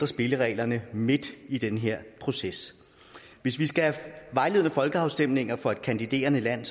spillereglerne midt i den her proces hvis vi skal have vejledende folkeafstemninger for et kandiderende land